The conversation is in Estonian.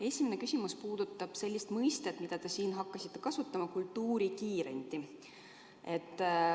Esimene küsimus puudutab seda mõistet, mida te olete hakanud kasutama: "kultuurikiirendi".